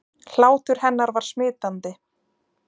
Hlátur hennar var smitandi.